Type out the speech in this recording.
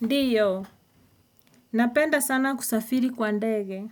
Ndio, napenda sana kusafiri kwa ndege.